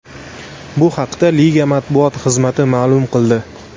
Bu haqda liga matbuot xizmati ma’lum qildi.